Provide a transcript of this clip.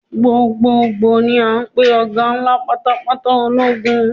Gbogboogbo ni a ń pè ọ̀gá ńlá pátápátá ológun.